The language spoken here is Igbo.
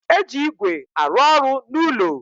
E ji ígwè arụ ọrụ n'ulo